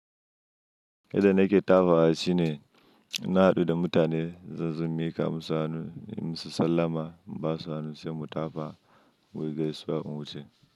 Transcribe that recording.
Idan na ke tafa a ci ne, na haɗu da mutane zan zon mika ka musu hannu, musu sallama ba su hannu sai mu tafa, mu yi gaisuwa n wuce.